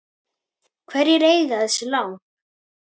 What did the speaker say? Hverjir eiga þessi lán?